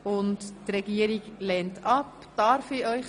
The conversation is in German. Die Regierung lehnt den Vorstoss ab.